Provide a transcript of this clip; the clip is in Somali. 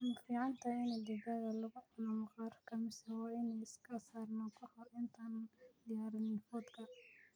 ma fiicantahay in digaagga lagu cuno maqaarka mise waa inaan iska saarnaa kahor intaanan diyaarinin fuudka?